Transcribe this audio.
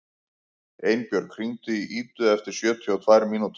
Einbjörg, hringdu í Idu eftir sjötíu og tvær mínútur.